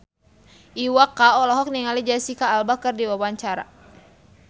Iwa K olohok ningali Jesicca Alba keur diwawancara